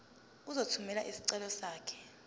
uzothumela isicelo sakho